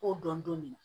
K'o dɔn don min